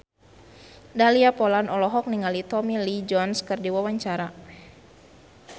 Dahlia Poland olohok ningali Tommy Lee Jones keur diwawancara